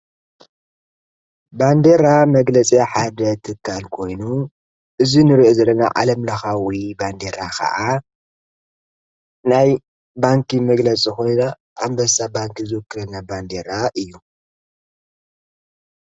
ባንዴራ መግለጺ ሓደ ትካል ኮይኑ እዙይ ንርኦ ዘለና ዓለም ለኻዊ ባንዴራ ኸዓ ናይ ባንኪ መግለፂ ኮይኑ ኣምበሳ ባንኪ ዘወክል ባንዴራ እዩ።